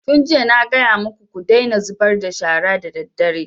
Tun jiya na gaya maku ku daina zubar da shara daddare!